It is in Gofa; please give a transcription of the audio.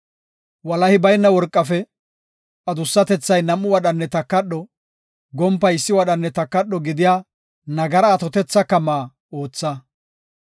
“Walahi bayna worqafe adussatethay nam7u wadhanne takadho, gompay issi wadhanne takadho gidiya nagara atotetha kama ootha.